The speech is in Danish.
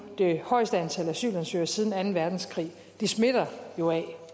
det højeste antal asylansøgere siden anden verdenskrig og det smitter jo af